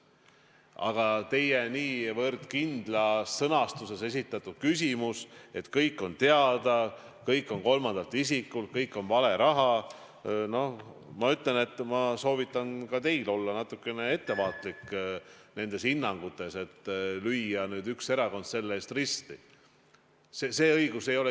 Aga teie niivõrd kindlas sõnastuses esitatud küsimus, et kõik on teada, kõik on kolmandalt isikult, kõik on vale raha – no ma ütlen, et ma soovitan ka teil olla natukene ettevaatlik sellistes hinnangutes, millega lüüa nüüd üks erakond selle eest risti.